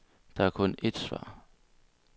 Der er kun ét svar.